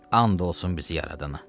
And olsun bizi yaradana.